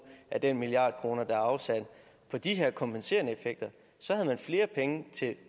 af den milliard kroner der er afsat på de her kompenserende effekter så havde man flere penge til